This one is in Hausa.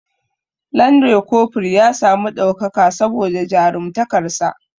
Lanre kofur ya sami ɗaukaka saboda jarumtakar sa